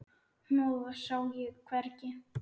Hnoðað sá ég hvergi.